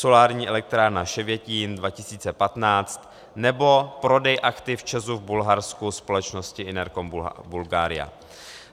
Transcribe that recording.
Solární elektrárna Ševětín 2015, nebo prodej aktiv ČEZu v Bulharsku společnosti Inercom Bulgaria.